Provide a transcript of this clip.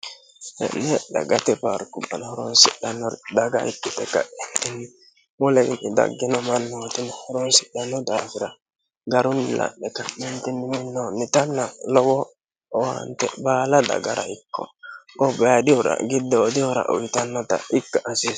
he'lee dha gate baarku ana horoonsidhannor dhaga ikkite ka'ettinni molenni daggino malmootini horoonsidhanno daafira garu mi la'me ka'mentinniminoo nitamina lowo owaante baala dagara ikko gobbaadihura giddoodihora uyitannota ikka hasiissano